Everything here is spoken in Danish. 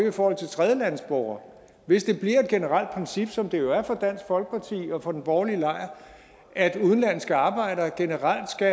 i forhold til tredjelandes borgere hvis det bliver et generelt princip som det jo er for dansk folkeparti og for den borgerlige lejr at udenlandske arbejdere generelt skal